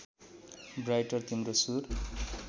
brighter तिम्रो सुर